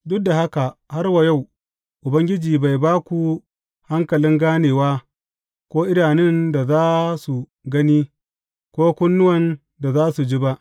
Duk da haka har wa yau Ubangiji bai ba ku hankalin ganewa, ko idanun da za su gani, ko kunnuwan da za su ji ba.